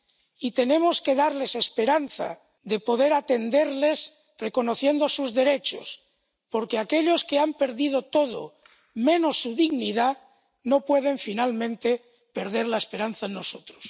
Y tenemos que darles la esperanza de poder atenderles reconociendo sus derechos, porque aquellos que han perdido todo menos su dignidad no pueden finalmente perder la esperanza en nosotros.